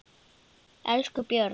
Elsku Björg.